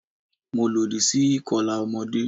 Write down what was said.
Mo lòdì sí ìkọlà ọmọdé.